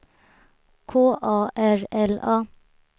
K A R L A